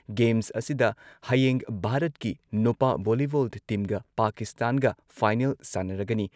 Games ꯑꯁꯤꯗ ꯍꯌꯦꯡ ꯚꯥꯔꯠꯀꯤ ꯅꯨꯄꯥ ꯚꯣꯂꯤꯕꯣꯜ ꯇꯤꯝꯒ ꯄꯥꯀꯤꯁꯇꯥꯟꯒ ꯐꯥꯏꯅꯦꯜ ꯁꯥꯟꯅꯔꯒꯅꯤ ꯫